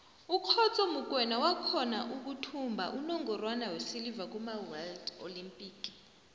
ukhotso mokoena wakhona ukuthumba unongorwana wesilver kumaworld olympic